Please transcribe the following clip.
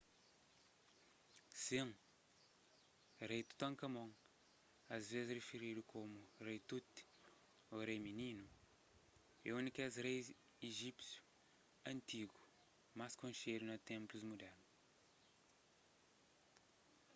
sin rei tutankámon asvês rifiridu komu rei tut ô rei mininu é un di kes rei ijípsius antigu más konxedu na ténplus mudernu